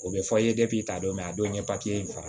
O bɛ fɔ ta don a don ye in faga